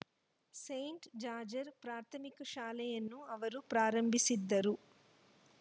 Saint George ಪ್ರಾಥಮಿಕ ಶಾಲೆಯನ್ನು ಅವರು ಪ್ರಾರಂಭಿಸಿದ್ದರು